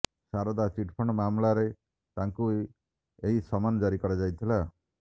Saradha chit fund ମାମଲାରେ ତାଙ୍କୁ ଏହି ସମନ୍ କରାଯାଇଥିଲା